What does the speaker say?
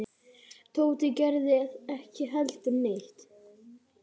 Tóti gerði ekki heldur neitt.